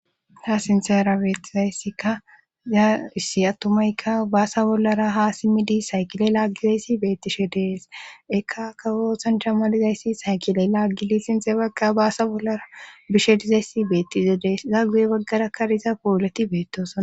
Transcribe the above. ta sinsera beettizayssikka yaaissi attumayka baasa bollara ha simmidi saykile laaggizayssi beettishe dees ekka kawosanshammalizayssi saykile laaggili sinxe bagga baasa bollara bishe dizayssi beettize dees zaa guye baggara kariza powoleti beettosan